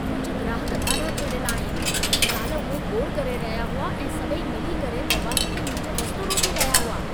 कुझ ग्राहक ॾाढा चिढियल आहिन। काल्हि उहे घोड़ करे रहिया हुआ ऐं सभई मिली करे दरवाज़े ते मुंहिंजो रस्तो रोके रहिया हुआ।